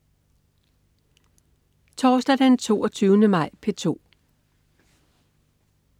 Torsdag den 22. maj - P2: